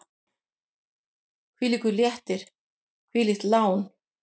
Hvílíkur léttir, hvílíkt lán!